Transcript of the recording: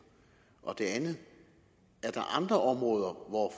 og det andet er der andre områder hvor